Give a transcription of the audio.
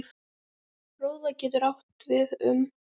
Róða getur átt við um